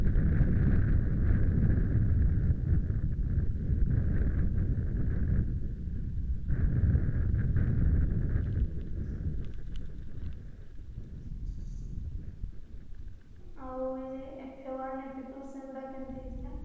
ଆଉ ଯୋଉ F one F two ସେଗୁଡା କେମିତି ହେଇଥିଲା